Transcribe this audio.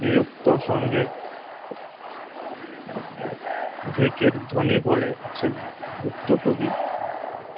বিরক্ত সঙ্গে ` ঢেকের ধ্বনি বলেছেন। গুপ্ত কবি